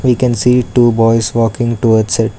We can see two boys walking towards it.